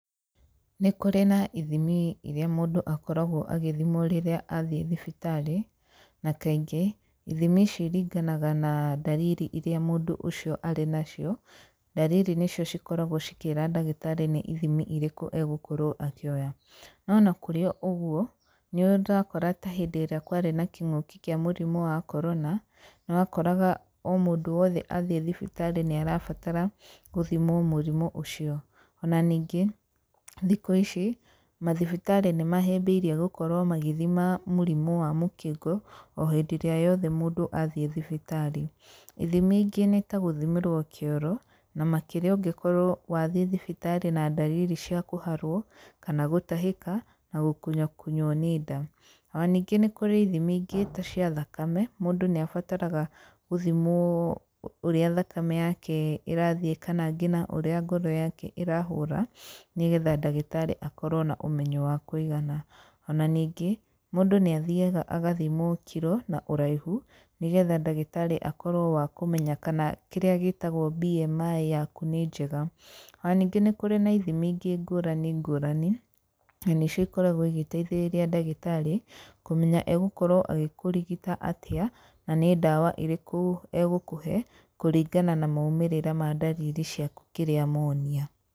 Nĩ kũrĩ na ithimi iria mũndũ akoragwo agĩthimwo rĩrĩa athiĩ thibitarĩ, na kaingĩ ithimi ici iringanaga na ndariri iria mũndũ ũcio arĩ nacio, ndariri nĩcio cikoragwo cikĩra ndagĩtarĩ nĩ ithimi irĩkũ egũkorwo akĩoya, no ona kũrĩ ũguo, nĩ ũrakora ta hĩndĩ ĩrĩa kwarĩ na kĩngũki kĩa mũrimũ wa korona, nĩ wakoraga o mũndũ wothe athiĩ thibitarĩ nĩ arabatara gũthimwo mũrimũ ũcio, ona ningĩ thikũ ici mathibitarĩ nĩ mahĩbĩirie gũkorwo magĩthima mũrimũ wa mũkingo, o hĩndĩria yothe mũndũ athiĩ thibitarĩ, ithimi ingĩ nĩ tagũthimĩrwo kĩoro, na makĩria ũngĩkorwo wathiĩ thibitarĩ na ndariri cia kũharwo, kana gũtahĩka, na gũkunywo kunywo nĩ nda, ona ningĩ nĩ kũrĩ ithimi ingĩ tacia thakame, mũndũ nĩ abataraga gũthimwo ũrĩa thakame yake ĩrathiĩ kana ngina ũrĩa ngoro yake ĩrahũra, nĩgetha ndagĩtarĩ akorwo na ũmenyo wakwĩigana, ona ningĩ mũndũ nĩ athiaga agathimwo kiro, na ũraihu, nĩgetha ndagĩtarĩ akorwo wa kũmenya kana kĩrĩa gĩtagwo BMI yaku nĩ njega, ona ningĩ nĩ kũrĩ nathimi ingĩ ngũrani ngũrani, na nĩcio ikoragwo igĩteithĩrĩria ndagĩtarĩ, kũmenya egũkorwo agĩkũrigita atĩa, na nĩ ndawa irĩkũ egũkũhe, kũringana na maimĩrĩra ma ndariri ciaku kĩrĩa monia.